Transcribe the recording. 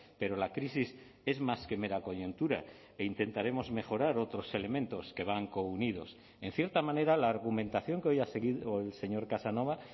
pero la crisis es más que mera coyuntura e intentaremos mejorar otros elementos que van counidos en cierta manera la argumentación que hoy ha seguido el señor casanova